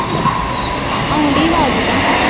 ਆਉਣ ਦਈ ਆਵਾਜ ਤਾਂ।